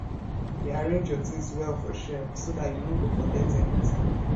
dey arrange your things well for shelf so dat you no go forget anything